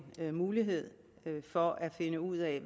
mulighed for at finde ud af